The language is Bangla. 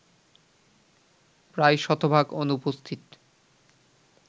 প্রায় শতভাগ অনুপস্থিত